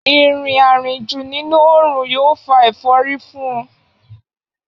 Ìrìn àrìnjù nínú òòrùn yóò fa ẹ̀fọ́rí fún un